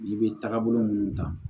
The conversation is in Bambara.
I bɛ taga bolo minnu ta